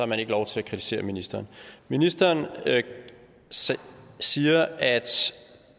man ikke lov til at kritisere ministeren ministeren siger at